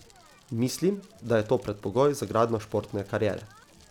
Mislim, da je to predpogoj za gradnjo športne kariere.